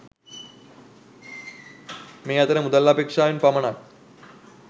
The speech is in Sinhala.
මේ අතර මුදල් අපේක්‍ෂාවෙන් පමණක්